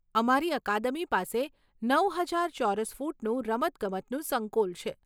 અમારી અકાદમી પાસે નવ હજાર ચોરસ ફૂટનું રમતગમતનું સંકુલ છે.